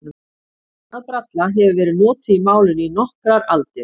Sögnin að bralla hefur verið notuð í málinu í nokkrar aldir.